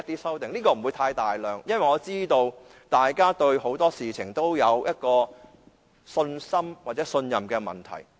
數量不會太多，因為我知道大家對很多事情欠缺信心或信任。